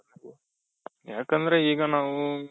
ಯಾಕಂದ್ರೆ ಈಗ ನಾವು,